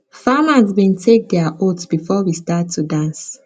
farmers bin take dia oaths before we start to dance